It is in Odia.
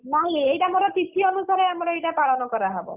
ନାଇଁ ଏଇଟା ମୋର ତିଥି ଅନୁସାରେ ଆମର ଏଇଟା ପାଳନ କରାହବ।